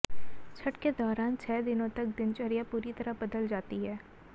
छठ के दौरान छह दिनों तक दिनचर्या पूरी तरह बदल जाती है